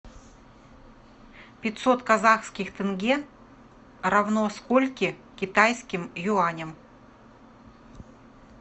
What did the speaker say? пятьсот казахских тенге равно скольки китайским юаням